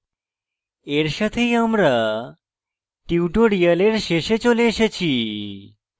এর সাথেই আমরা tutorial শেষে চলে এসেছি